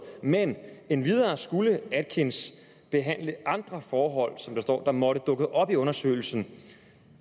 men endvidere skulle atkins behandle andre forhold som der står måtte dukke op i undersøgelsen